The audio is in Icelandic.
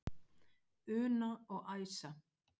Una og Æsa.